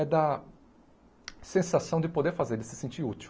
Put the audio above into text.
É da sensação de poder fazer, de se sentir útil.